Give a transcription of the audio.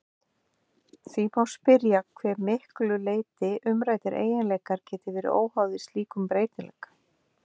Því má spyrja að hve miklu leyti umræddir eiginleikar geti verið óháðir slíkum breytileika.